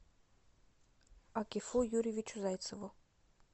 акифу юрьевичу зайцеву